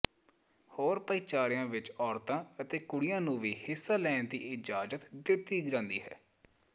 ਹੋਰ ਭਾਈਚਾਰਿਆਂ ਵਿੱਚ ਔਰਤਾਂ ਅਤੇ ਕੁੜੀਆਂ ਨੂੰ ਵੀ ਹਿੱਸਾ ਲੈਣ ਦੀ ਇਜਾਜ਼ਤ ਦਿੱਤੀ ਜਾਂਦੀ ਹੈ